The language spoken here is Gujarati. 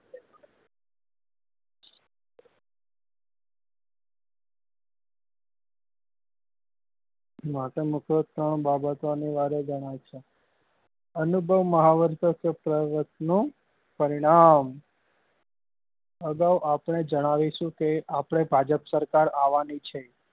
મહત્વ નું ત્રણ બાબતો નું અનિવાર્ય અનુભવ નું પરિણામ અગાઉ આપને જણાવીશું કે આપડે ભાજપ સરકાર આવવા ની છે